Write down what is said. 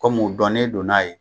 Kɔm'u dɔnnen do n'a ye